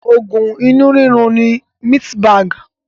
Oògùn inú rírun ni Mistmag